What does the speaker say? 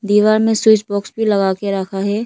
दीवार में switch box भी लगा के रखा है।